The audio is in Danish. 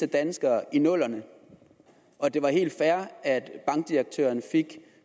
danskere i nullerne og at det var helt fair at bankdirektøren fik